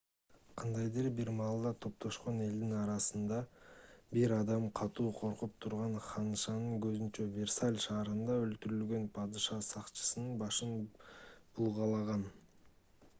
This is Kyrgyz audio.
кандайдыр бир маалда топтошкон элдин арасынан бир адам катуу коркуп турган ханышанын көзүнчө версаль шаарында өлтүрүлгөн падыша сакчысынын башын булгалаган